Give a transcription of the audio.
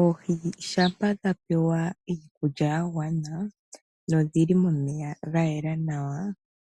Oohi shampa dha pewa iikulya yagwana nodhili momeya gayela nawa